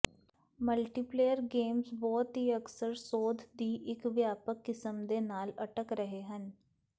multiplayer games ਬਹੁਤ ਹੀ ਅਕਸਰ ਸੋਧ ਦੀ ਇੱਕ ਵਿਆਪਕ ਕਿਸਮ ਦੇ ਨਾਲ ਅਟਕ ਰਹੇ ਹਨ